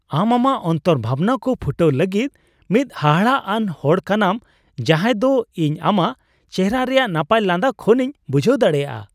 ᱟᱢ ᱟᱢᱟᱜ ᱚᱱᱛᱚᱨ ᱵᱷᱟᱵᱱᱟ ᱠᱚ ᱯᱷᱩᱴᱟᱹᱣ ᱞᱟᱹᱜᱤᱫ ᱢᱤᱫ ᱦᱟᱦᱟᱲᱟᱜᱼᱟᱱ ᱦᱚᱲ ᱠᱟᱱᱟᱢ ᱡᱟᱦᱟᱫᱚ ᱤᱧ ᱟᱢᱟᱜ ᱪᱮᱦᱨᱟ ᱨᱮᱭᱟᱜ ᱱᱟᱯᱟᱭ ᱞᱟᱸᱫᱟ ᱠᱷᱚᱱᱤᱧ ᱵᱩᱡᱷᱟᱹᱣ ᱫᱟᱲᱮᱭᱟᱜᱼᱟ ᱾